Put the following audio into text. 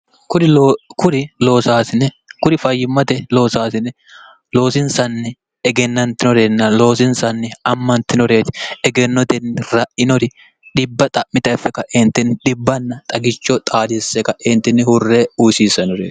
kuri fayyimmate loosaasine loosinsanni egennantinoreenna loosinsanni ammantinoreeti egennotenni ra'inori dhibba xa'mi0ff kaeentenni dhibbanna xagicho xaadisse kaeentinni hurre uusiissanore